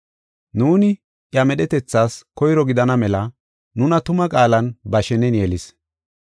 Nuuni, iya medhetethas koyro gidana mela nuna tuma qaalan ba shenen yelis.